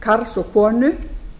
karl og konu